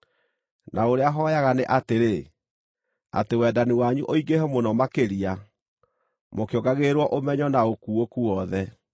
Na ũrĩa hooyaga nĩ atĩrĩ: atĩ wendani wanyu ũingĩhe mũno makĩria, mũkĩongagĩrĩrwo ũmenyo na ũkuũku wothe,